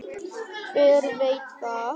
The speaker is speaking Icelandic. Hver veit það?